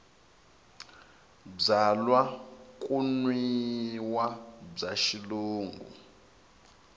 byalwa ku nwiwa bya xilungu